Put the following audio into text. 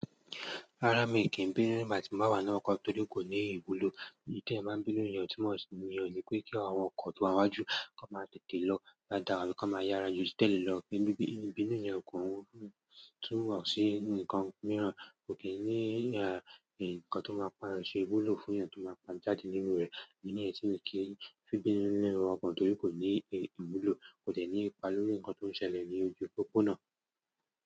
Rárá mi kì í bínú, nigbati mo bá wà nínú ọkọ̀ tóri ko ní ìwúlò, tí ẹyan báa ń bínú ìyẹn o tun mo sì íyen ọ̀ní pé kí àwọn ọkọ̀ tó wá n wájú kí wọ́n máa tètè lọ dáadáa, àbí kọ́ n máa yára ju ti telẹ́ lọ, ibínú yẹn kọ́, tí wọ́n sì nǹkan mìíràn kò kí í ní ẹ̀, nǹkan tó máa ń padà ṣe ìwúlò fún ẹyan tó máa pa jáde nínú rẹ̀, idi ni yen ti mi kí n fi bínú nínú ọkọ̀ tórí ko ni ìwúlò, kò dẹ̀ ní ipa lórí ǹkan tó ń ṣẹlẹ̀ ní ojú òpópónà.